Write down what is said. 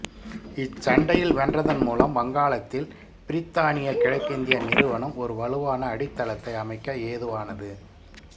இச்சண்டையில் வென்றதன் மூலம் வங்காளத்தில் பிரித்தானிய கிழக்கிந்திய நிறுவனம் ஒரு வலுவான அடித்தளத்தை அமைக்க ஏதுவானது